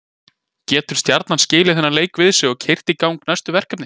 Getur Stjarnan skilið þennan leik við sig og keyrt í gang næstu verkefni?